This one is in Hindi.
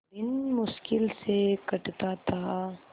दिन मुश्किल से कटता था